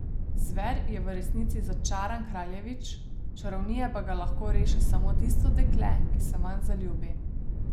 Zver je v resnici začaran kraljevič, čarovnije pa ga lahko reši samo tisto dekle, ki se vanj zaljubi.